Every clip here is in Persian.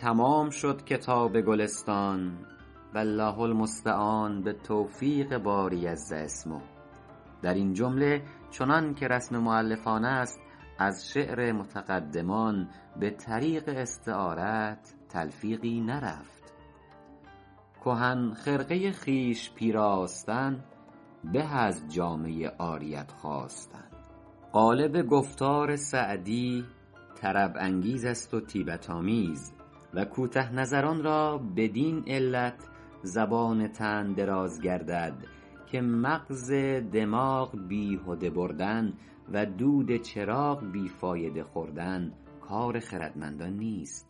تمام شد کتاب گلستان والله المستعان به توفیق باری عز اسمه در این جمله چنان که رسم مؤلفان است از شعر متقدمان به طریق استعارت تلفیقی نرفت کهن خرقه خویش پیراستن به از جامه عاریت خواستن غالب گفتار سعدی طرب انگیز است و طیبت آمیز و کوته نظران را بدین علت زبان طعن دراز گردد که مغز دماغ بیهوده بردن و دود چراغ بی فایده خوردن کار خردمندان نیست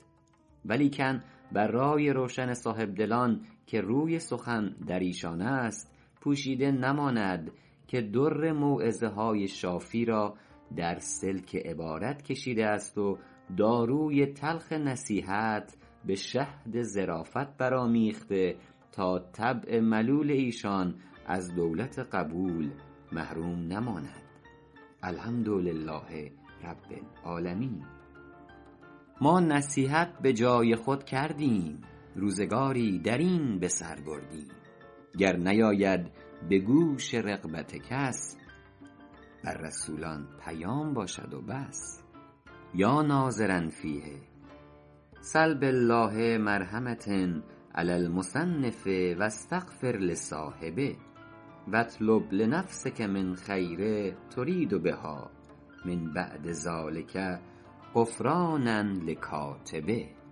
ولیکن بر رای روشن صاحبدلان که روی سخن در ایشان است پوشیده نماند که در موعظه های شافی را در سلک عبارت کشیده است و داروی تلخ نصیحت به شهد ظرافت بر آمیخته تا طبع ملول ایشان از دولت قبول محروم نماند الحمدلله رب العالمین ما نصیحت به جای خود کردیم روزگاری در این به سر بردیم گر نیاید به گوش رغبت کس بر رسولان پیام باشد و بس یا ناظرا فیه سل بالله مرحمة علی المصنف و استغفر لصاحبه و اطلب لنفسک من خیر ترید بها من بعد ذلک غفرانا لکاتبه